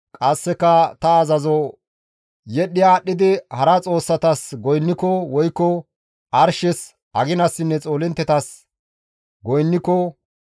qasseka ta azazo yedhdhi aadhdhidi hara xoossatas goynniko woykko arshes, aginassinne xoolinttetas goynniko,